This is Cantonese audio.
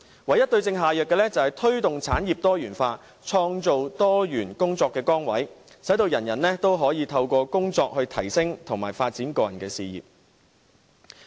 唯一對症下藥的方法，是推動產業多元化，創造多元工作崗位，使所有人均可以透過工作來提升和發展個人事業。